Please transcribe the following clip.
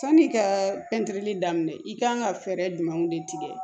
Sani ka pɛntiri daminɛ i kan ka fɛɛrɛ jumɛnw de tigɛ